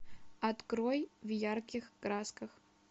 открой в ярких красках